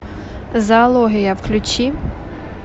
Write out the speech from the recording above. зоология включи